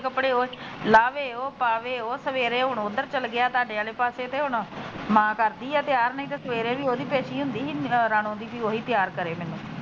ਕੱਪੜੇ ਉਹ ਲਾਵੇ ਉਹ ਪਾਵੇ ਉਹ ਸਵੇਰੇ ਹੁਣ ਉਧਰ ਚਲਾ ਗਿਆ ਤੁਹਾਡੇ ਵਾਲੇ ਪਾਸੇ ਤੇ ਹੁਣ ਮਾਂ ਕਰਦੀ ਆ ਤਿਆਰ ਤੇ ਨਹੀ ਸਵੇਰੇ ਉਹਦੀ ਪੇਸ਼ੀ ਹੁੰਦੀ ਰਾਣੋ ਦੀ ਉਹੀ ਤਿਆਰ ਕਰੇ ਮੈਨੂੰ।